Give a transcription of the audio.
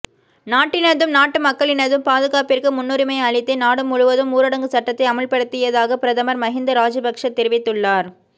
நாட்டினதும் நாட்டு மக்களினதும் பாதுகாப்பிற்கு முன்னுரிமை அளித்தே நாடுமுழுவதும் ஊடரங்கு சட்டத்தை அமுல்படுத்தியதாக பிரதமர் மஹிந்த ராஜபக்ச தெரிவித்துள்ளார்